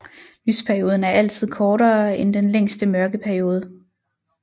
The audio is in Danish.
Lysperioden er altid kortere end den længste mørkeperiode